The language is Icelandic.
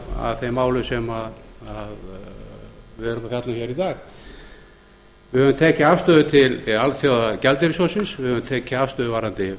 að þeim málum sem við erum að fjalla um hér í dag við höfum tekið afstöðu til alþjóðagjaldeyrissjóðsins við höfum tekið afstöðu varðandi vaxtamálin við